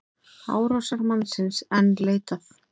Árásarmannsins enn leitað